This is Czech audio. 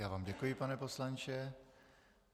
Já vám děkuji, pane poslanče.